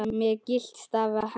með gyltan staf í hendi.